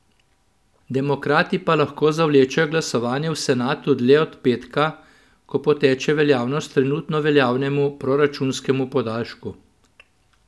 Demokrati pa lahko zavlečejo glasovanje v senatu dlje od petka, ko poteče veljavnost trenutno veljavnemu proračunskemu podaljšku.